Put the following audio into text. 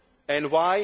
and